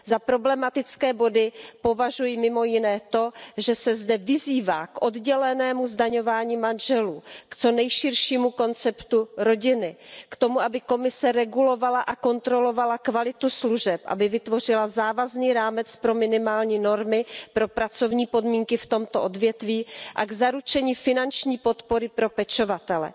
Za problematické body považuji mimo jiné to, že se zde vyzývá k oddělenému zdaňování manželů, k co nejširšímu konceptu rodiny, k tomu, aby Komise regulovala a kontrolovala kvalitu služeb, aby vytvořila závazný rámec pro minimální normy pro pracovní podmínky v tomto odvětví a k zaručení finanční podpory pro pečovatele.